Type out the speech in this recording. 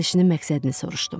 Gəlişinin məqsədini soruşdum.